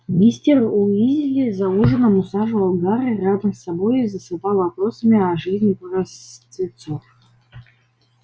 мистер уизли за ужином усаживал гарри рядом с собой и засыпал вопросами о жизни простецов